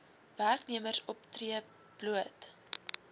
werknemers optree bloot